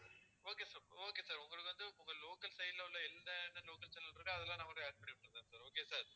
okay sir okay sir உங்களுக்கு வந்து உங்க local side ல உள்ள எந்த local channel இருக்கோ அதெல்லாம் add okay வா sir